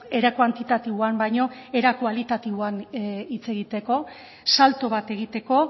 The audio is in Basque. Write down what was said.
era kuantitatiboan baino ere kualitatiboan hitz egiteko salto bat egiteko